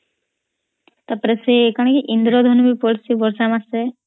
ତାପରେ ସେ କଣ କି ଇନ୍ଦ୍ରଧନୁ ବି ପଡଚୀ ବର୍ଷା ମାସେ